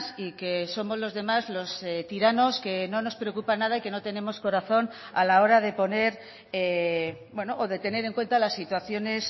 y que somos los demás los tiranos que no nos preocupa nada y que no tenemos corazón a la hora de poner o de tener en cuenta las situaciones